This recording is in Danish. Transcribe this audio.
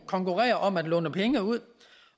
konkurrerer om at låne penge ud